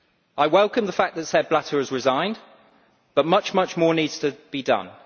I welcome the fact that Sepp Blatter has resigned, but much more needs to be done.